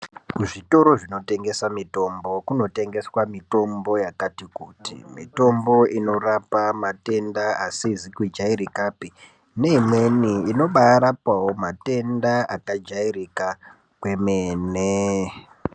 Kuzvitoro zvinotengesa mitombo, kunotengeswa mitombo yakati kuti. Mitombo inorapa matenda asizi kujairikapi, neimweni inobaarapawo matenda akajairika kwemene.